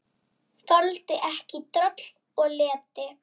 Þoldi ekki droll og leti.